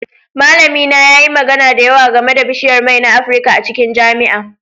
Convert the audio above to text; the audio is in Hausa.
Malamina yayi magana da yawa game da bishiyar mai na Afirka a cikin jami'a